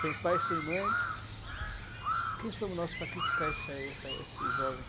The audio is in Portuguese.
Sem pai, sem mãe, quem somos nós para criticar essa essa esse jovem?